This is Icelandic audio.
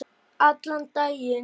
Allan daginn.